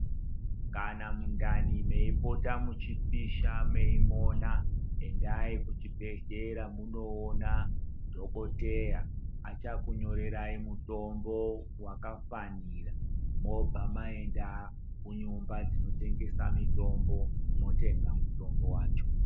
Kana mundani meipota muchipisha meimonya endai kuchibhedhlera mondoona dhokoteya achakunyorerai mutombo wakafanira mobva maenda kunyumba dzinotengesa mutombo mobva matenga mutombo wacho.